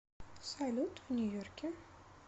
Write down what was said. салют в нью йорке